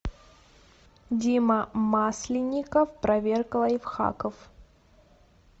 дима масленников проверка лайфхаков